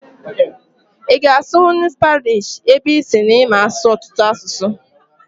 Ị ga-asụnwu Spaanish ebe ị sịrị na ịma asụ ọtụtụ asụsụ?